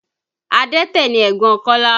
Adẹ́tẹ̀ ni ẹ̀gbọ́n Kọ́lá